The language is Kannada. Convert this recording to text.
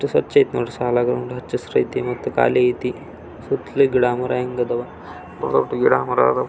ಎಷ್ಟ್ ಸ್ವಚ್ ಐತೆ ನೋಡ್ರಿ ಸಾಲಾಗಿ ಹಚ್ಚ್ ಹಸಿರಿತೆ ಮತ್ತೆ ಕಾಳಿ ಐತೆ ಸುತ್ತಲೂ ಗಿಡ ಮರಗಳು ಇದಾವೆ ಗಿಡ ಮರ ಇದಾವೆ --